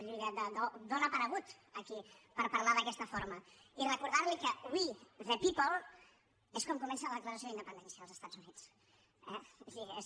d’on ha aparegut aquí per parlar d’aquesta forma i recordar li que we the people és com comença la declaració d’independència dels estats units eh vull dir és